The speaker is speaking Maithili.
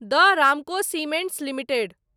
the Ramco cements limited